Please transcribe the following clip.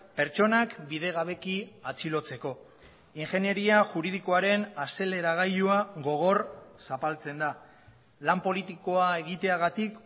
pertsonak bidegabeki atxilotzeko ingenieria juridikoaren azeleragailua gogor zapaltzen da lan politikoa egiteagatik